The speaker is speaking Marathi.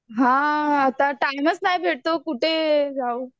हां आता टाईमच नाही भेटतो कुठे जाऊ?